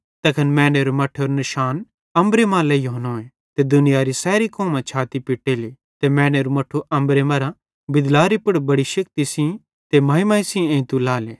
तैखन मैनेरे मट्ठेरो निशान अम्बरे मां लेइहोनोए ते दुनियारी सैरी कौमां छाती पिट्टेली ते मैनेरू मट्ठू अम्बरे मरां बिदलारी पुड़ बेड़ि शेक्ति ते महिमा सेइं एइते लाएले